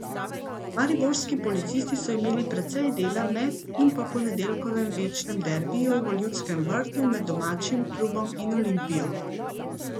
Mariborski policisti so imeli precej dela med in po ponedeljkovem večnem derbiju v Ljudskem vrtu med domačim klubom in Olimpijo.